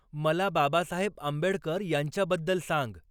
मला बाबासाहेब आंबेडकर यांच्याबद्दल सांग